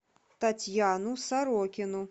татьяну сорокину